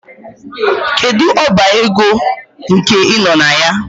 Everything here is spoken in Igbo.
Kedu ọba ego nke ị nọ na ya?